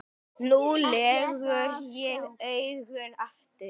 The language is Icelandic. Nú legg ég augun aftur.